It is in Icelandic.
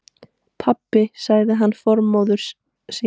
Pabbi sagði hana formóður sína.